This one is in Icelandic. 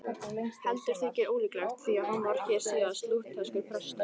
Heldur þykir það ólíklegt, því að hann varð hér síðar lútherskur prestur.